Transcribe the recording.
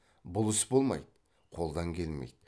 бұл іс болмайды қолдан келмейді